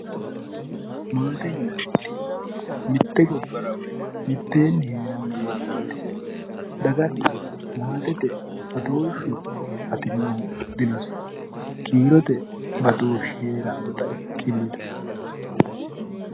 Maate yinanniti mitte gobbara mitteenni heerano mannaati daganna maatete kiirote badooshi heeranotta ikkittano.